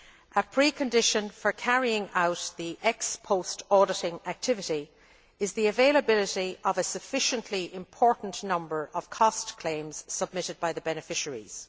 A precondition for carrying out the ex post auditing activity is the availability of a sufficiently important number of cost claims submitted by the beneficiaries.